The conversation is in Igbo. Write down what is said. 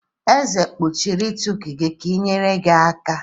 Eze kpuchiri itiku-gi ka i nyere gi aka?